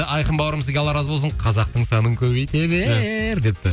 айқын бауырым сізге алла разы болсын қазақтың санын көбейте бер депті